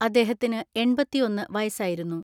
അദ്ദേഹത്തിന് എണ്‍പത്തിഒന്ന് വയസായിരുന്നു.